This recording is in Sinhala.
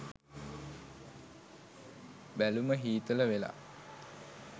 බැලුම හීතල වෙලා